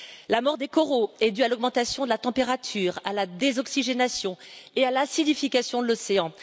La mort des coraux est due à l'augmentation de la température, à la désoxygénation et à l'acidification de l'océan.